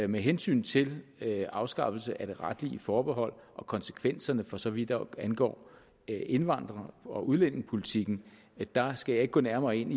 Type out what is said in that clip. med hensyn til afskaffelse af det retlige forbehold og konsekvenserne for så vidt angår indvandrer og udlændingepolitikken skal jeg ikke gå nærmere ind